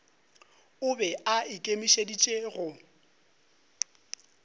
o be a ikemišeditše go